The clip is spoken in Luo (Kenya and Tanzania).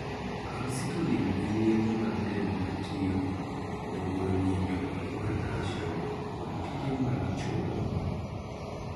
'Calcitonin' en yedhe mag del ma tiyo e guro nyinyo mar 'calcium' kod tije mag chogo.